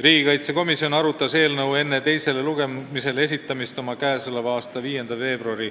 Riigikaitsekomisjon arutas eelnõu enne teisele lugemisele esitamist oma 5. veebruari